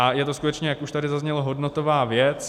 A je to skutečně, jak už tady zaznělo, hodnotová věc.